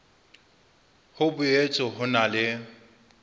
ho boetse ho na le